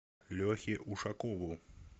лехе ушакову